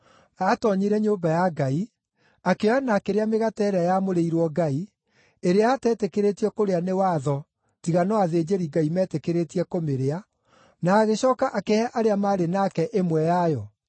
Aatoonyire Nyũmba ya Ngai, akĩoya na akĩrĩa mĩgate ĩrĩa yamũrĩirwo Ngai, ĩrĩa ateetĩkĩrĩtio kũrĩa nĩ watho tiga no athĩnjĩri-Ngai meetĩkĩrĩtio kũmĩrĩa, na agĩcooka akĩhe arĩa maarĩ nake ĩmwe yayo.”